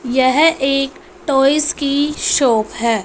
यह एक टॉयज की शॉप है।